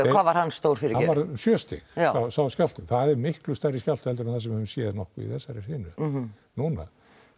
hvað var hann stór fyrirgefðu hann var sjö stig sá skjálfti það er miklu stærri skjálfti en við höfum séð í þessari hrynu núna